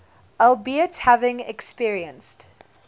albeit having experienced